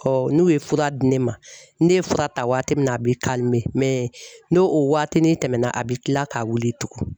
Ɔ n'u ye fura di ne ma, ne ye fura ta waati min na a bɛ n'o waati ni tɛmɛna a bɛ kila k'a wuli tugun.